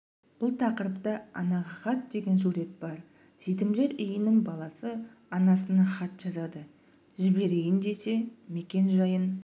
бұл тақырыпта анаға хат деген сурет бар жетімдер үйінің баласы анасына хат жазады жіберейін десе мекен-жайын